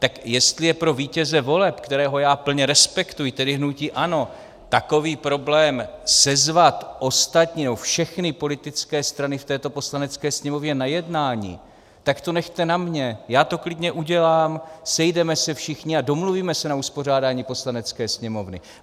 Tak jestli je pro vítěze voleb, kterého já plně respektuji, tedy hnutí ANO, takový problém sezvat ostatní, nebo všechny politické strany v této Poslanecké sněmovně na jednání, tak to nechte na mně, já to klidně udělám, sejdeme se všichni a domluvíme se na uspořádání Poslanecké sněmovny.